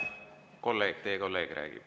Kolleeg, teie kolleeg räägib.